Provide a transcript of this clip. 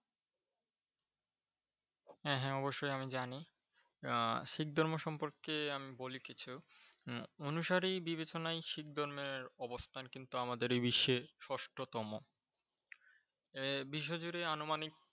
হ্যাঁ হ্যাঁ অবশ্যই আমি জানি ।আহ শিখ ধর্ম সম্পর্কে আমি বলি কিছু। অনুসারী বিবেচনায় শিখ ধর্মের অবস্থান কিন্তু আমাদের বিশ্বের ষষ্ঠ তম। এ বিশ্ব জুড়ে আনুমানিক